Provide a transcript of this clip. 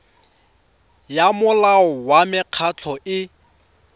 ya molao wa mekgatlho e